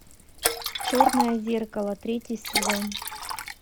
черное зеркало третий сезон